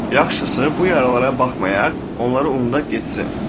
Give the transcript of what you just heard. Yaxşısı bu yaralara baxmayaq, onları unudaq getsin.